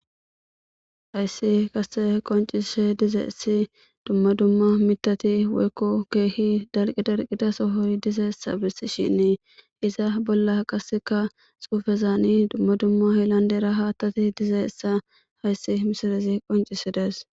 Hayssi kase qoncise diza essi dumma dumma mitati weykko keehi dalqi darqidasohoyy diza essa bessi shinnee iza bolla qasseka xuufezaani dumma dumma hellandera haattati diza essa hayssi misarazi qoncisidees.